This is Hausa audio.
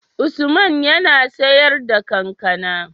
Usman yAna siyar da kankAna?